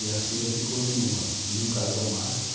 E a filha ficou viúva, não casou mais.